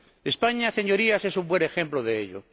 España, Señorías, es un buen ejemplo de ello.